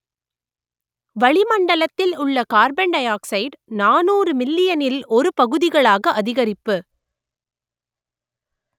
வளிமண்டலத்தில் உள்ள கார்பன்டைஆக்சைடு நாநூறு மில்லியனில் ஒரு பகுதிகளாக அதிகரிப்பு